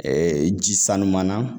ji sanuman na